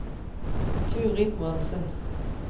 Turid Monsen